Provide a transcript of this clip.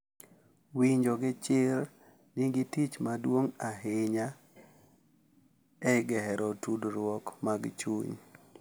Winjo gi chir nigi tich maduong' ahinya e gero tudruok mag chuny.